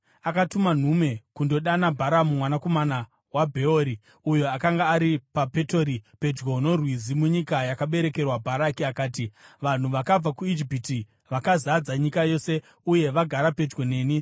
akatuma nhume kundodana Bharamu mwanakomana waBheori, uyo akanga ari paPetori, pedyo noRwizi, munyika yaakaberekerwa. Bharaki akati: “Vanhu vakabva kuIjipiti, vakazadza nyika yose, uye vagara pedyo neni.